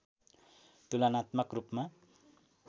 तुलनात्मक रूपमा